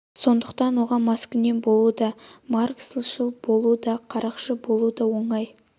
сондықтан оған маскүнем болу да марксшіл болу да қарақшы болу да оңай